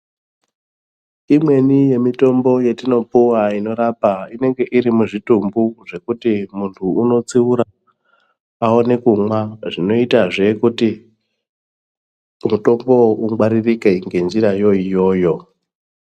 Imweni yemitombo yetinopuwa inorapa inenge irimuzvitumbu zvekuti muntu unodziura aone kumwa zvinoitazve kuti mutombowo ungwaririka ngenjirayo iyoyo.